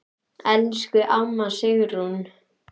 Elsku amma Sigrún.